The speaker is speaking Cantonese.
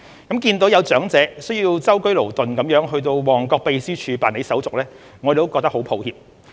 看到有長者需舟車勞頓到旺角秘書處辦理手續，我們感到很抱歉。